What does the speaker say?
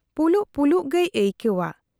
ᱯᱩᱞᱩᱜ ᱯᱩᱞᱩᱜ ᱜᱮᱭ ᱟᱹᱭᱠᱟᱹᱣᱟ ᱾